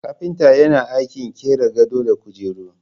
Kapinta yana aikin qira gado da kujeru.